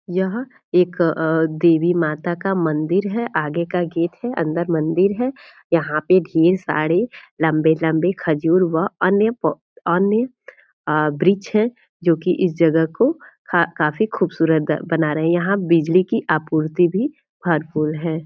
यहाँ एक अ देवी माता का मंदिर है आगे का गेट है अंदर मंदिर है यहाँ पे ढेर सारे लम्बे-लम्बे खजूर वह अन्य पौ अन्य आ वृक्ष है जो कि इस जगह को का काफ़ी खूबसूरत बना रहे है यहाँ बिजली कि आपूर्ति भी भरपूर है।